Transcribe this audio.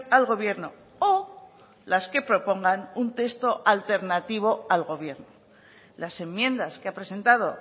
al gobierno o las que propongan un texto alternativo al gobierno las enmiendas que ha presentado